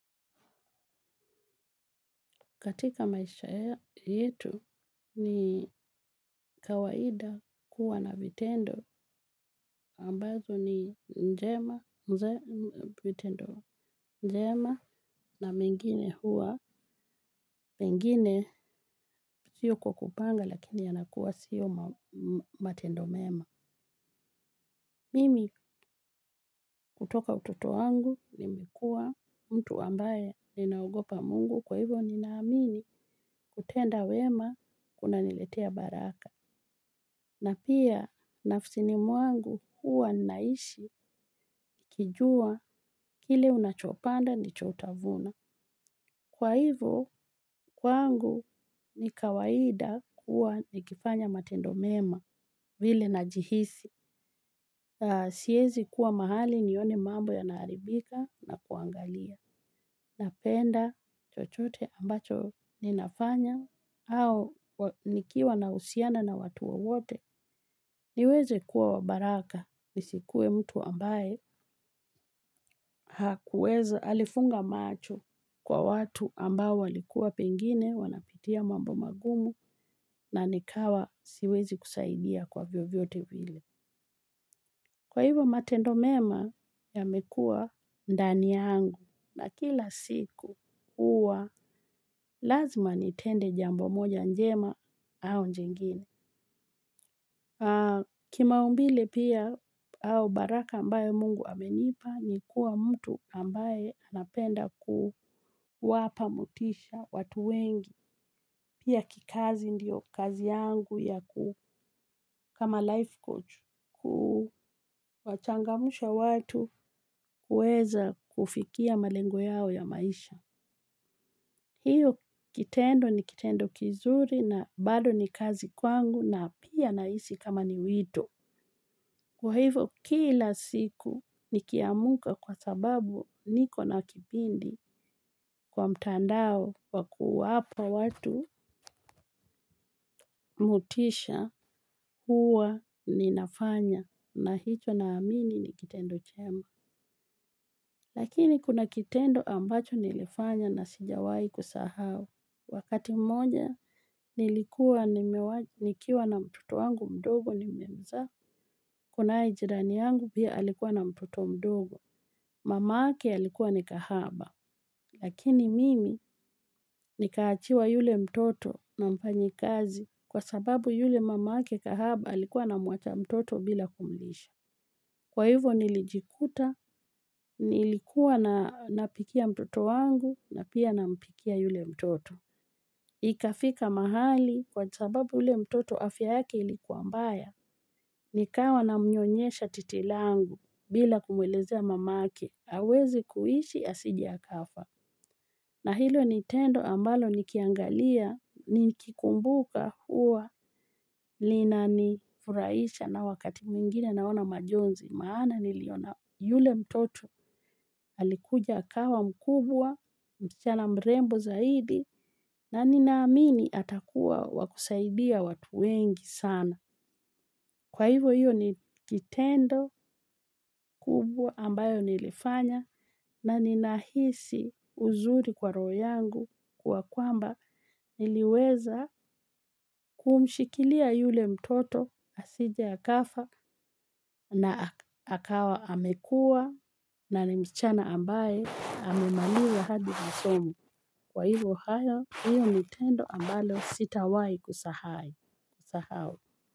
Katika maisha yetu ni kawaida kuwa na vitendo ambazo ni njema na mingine huwa, mingine siyo kwa kupanga lakini yanakuwa siyo matendo mema. Mimi kutoka utoto wangu nimekuwa mtu ambaye ninaogopa mungu kwa hivo ninaamini kutenda wema kunaniletea baraka. Na pia nafsini mwangu huwa naishi nikijua kile unachopanda ndicho utavuna. Kwa hivo, kwangu ni kawaida kuwa nikifanya matendo mema vile najihisi. Siwezi kuwa mahali nione mambo yanaharibika na kuangalia. Napenda chochote ambacho ninafanya au nikiwa na uhusiano na watu wowote. Niweze kuwa wa baraka nisikue mtu ambaye hakuweza alifunga macho kwa watu ambao walikuwa pengine wanapitia mambo magumu na nikawa siwezi kusaidia kwa vyo vyote vile. Kwa hivyo matendo mema yamekuwa ndani yangu na kila siku uwa lazima nitende jambo moja njema au jingine. Kimaumbile pia au baraka ambayo mungu amenipa ni kuwa mtu ambaye anapenda kuwapa motisha watu wengi. Pia kikazi ndiyo kazi yangu ya kama life coach kuwachangamsha watu kuweza kufikia malengo yao ya maisha. Hiyo kitendo ni kitendo kizuri na bado ni kazi kwangu na pia nahisi kama ni wito. Kwa hivyo kila siku nikiamka kwa sababu niko na kipindi kwa mtandao kwa kuwapa watu motisha huwa ninafanya na hicho naamini ni kitendo chema. Lakini kuna kitendo ambacho nilifanya na sijawahi kusahau. Wakati mmoja, nilikuwa na mtoto wangu mdogo nimemzaa. Kunaye ijirani yangu pia alikuwa na mtoto mdogo. Mama yake alikuwa ni kahaba. Lakini mimi nikaachiwa yule mtoto na mfanyi kazi. Kwa sababu yule mama yake kahaba alikuwa namwacha mtoto bila kumlisha. Kwa hivyo nilijikuta, nilikuwa napikia mtoto wangu na pia nampikia yule mtoto. Ikafika mahali kwa sababu yule mtoto afya yake ilikuwa mbaya. Nikawa na mnyonyesha titi langu bila kumwelezea mama yake. Hawezi kuishi asije akafa. Na hilo ni tendo ambalo nikiangalia, niki kumbuka huwa. Linani furaisha na wakati mwingine naona majonzi maana niliona yule mtoto alikuja akawa mkubwa msichana mrembo zaidi na ninaamini atakuwa wa kusaidia watu wengi sana. Kwa hivyo hiyo ni kitendo kubwa ambayo nilifanya na ninahisi uzuri kwa roho yangu kwa kwamba niliweza kumshikilia yule mtoto asije akafa na akawa amekua na ni msichana ambaye amemaliza hadi masomo. Kwa hivyo hiyo ni tendo ambalo sitawahi kusahau.